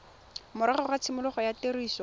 morago ga tshimologo ya tiriso